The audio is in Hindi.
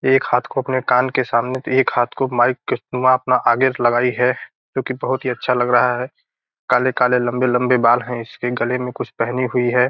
एक हाथ को अपने कान के सामने एक हाथ को माइक के अपने आगे से लगाई है जो की बहुत ही अच्छा लग रहा है काले-काले लम्बे-लम्बे बाल है इसके गले में कुछ पहने हुई है।